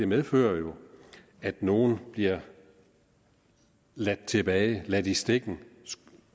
medfører at nogle bliver ladt tilbage ladt i stikken